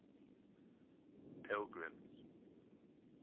pilgrim's